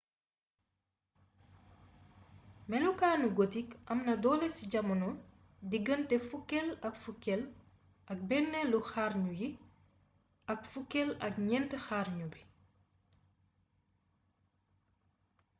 melokaanu gotik am na doole ci jamono diggante fukkeel ak fukkeel ak benneelu xarnu yi ak fukkel ak ñeent xarnu bi